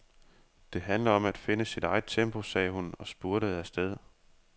Det handler om at finde sit eget tempo, sagde hun og spurtede afsted.